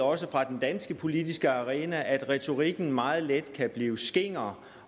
også fra den danske politiske arena ved at retorikken meget let kan blive skinger